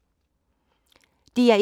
DR1